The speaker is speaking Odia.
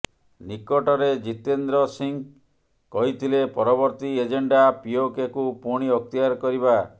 ନିକଟରେ ଜିତେନ୍ଦ୍ର ସିଂହ କହିଥିଲେ ପରବର୍ତ୍ତୀ ଏଜେଣ୍ଡା ପିଓକେକୁ ପୁଣି ଅକ୍ତିଆର କରିବା